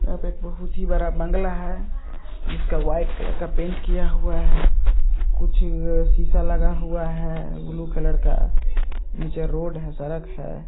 यहाँ पर बहुत ही बड़ा एक बंगला है। जिसका वाइट कलर का पेंट किया हुआ है। कुछ शीशा लगा हुआ है। ब्लू कलर का निचे रोड है। सड़क है।